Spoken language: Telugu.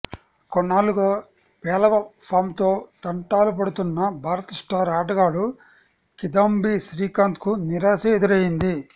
కొన్నాళ్లుగా పేలవ ఫాంతో తంటాలుపడుతున్న భారత స్టార్ ఆటగాడు కిదాంబి శ్రీకాంత్కు నిరాశే ఎదురైంది